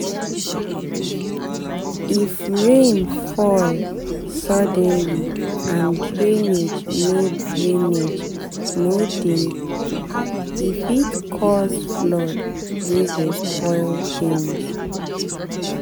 if rain fall suddenly and drainage no drainage no dey e fit cause flood wey go spoil things.